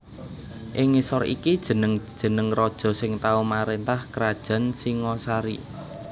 Ing ngisor iki jeneng jeneng raja sing tau marentah krajan Singhasari